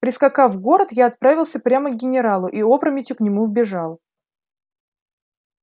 прискакав в город я отправился прямо к генералу и опрометью к нему вбежал